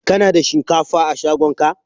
Ka na da shinkafa a shagon ka?